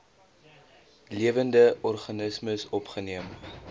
lewende organismes opgeneem